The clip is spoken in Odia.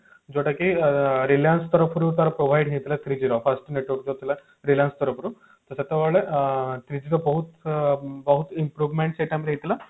ଯୋଉଟା କି reliance ତରଫରୁ ତାର provide ହେଇଥିଲା three G first network ଥିଲା reliance ତରଫରୁ ସେତେବେଳେ ଅ three G ର ବହୁତ ବହୁତ ଅ improvement ସେଇ time ରେ ହେଇଥିଲା